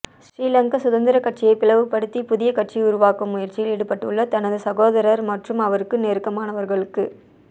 ஸ்ரீலங்கா சுதந்திர கட்சியை பிளவுபடுத்தி புதிய கட்சி உருவாக்கும் முயற்சியில் ஈடுபட்டுள்ள தனது சகோதரர் மற்றும் அவருக்கு நெருக்கமானவர்களுக்கு